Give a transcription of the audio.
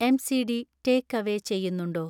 MCD takeaway ചെയ്യുന്നുണ്ടോ